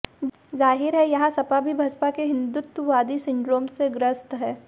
जाहिर है यहां सपा भी बसपा के हिंदुत्ववादी सिंड्रोम से ग्रस्त है